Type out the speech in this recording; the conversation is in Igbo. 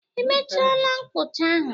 I mechaala mkpụcha ahụ?